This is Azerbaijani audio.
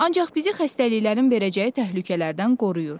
Ancaq bizi xəstəliklərin verəcəyi təhlükələrdən qoruyur.